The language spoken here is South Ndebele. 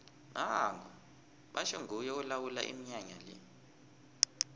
nango batjho nguye olawula iminyanya le